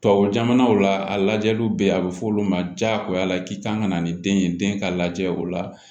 Tubabu jamanaw la a lajɛliw bɛ yen a bɛ f'olu ma diyagoya k'i kan ka na ni den ye den ka lajɛ o la